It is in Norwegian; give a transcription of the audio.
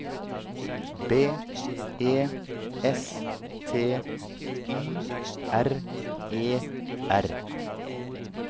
B E S T Y R E R